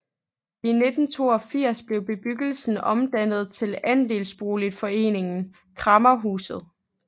I 1982 blev bebyggelsen omdannet til andelsboligforeningen Kræmmerhuset